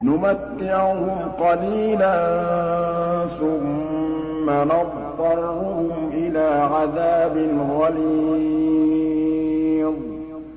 نُمَتِّعُهُمْ قَلِيلًا ثُمَّ نَضْطَرُّهُمْ إِلَىٰ عَذَابٍ غَلِيظٍ